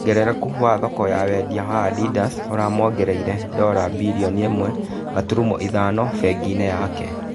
Wongerereku wa thoko ya wendia wa Adindas ũramuongereire ndora birioni ĩmwe turumo ithano benginĩ yake.